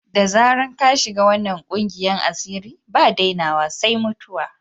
Da dama ka shiga wanan ƙungiyan asiri, ba dainawa sai mutuwa.